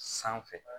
Sanfɛ